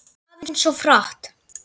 Sölvi: Kannski aðeins of hratt